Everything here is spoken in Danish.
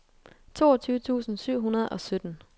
toogtyve tusind syv hundrede og sytten